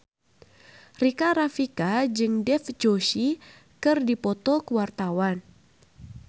Rika Rafika jeung Dev Joshi keur dipoto ku wartawan